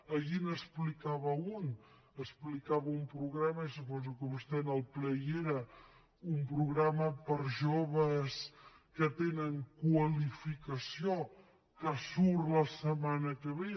ahir n’explicava un explicava un programa i suposo que vostè en el ple hi era un programa per a joves que tenen qualificació que surt la setmana que ve